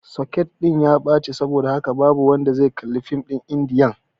soket ɗin ya ɓaci saboda haka ba wanda zai kalli fim ɗin indiyan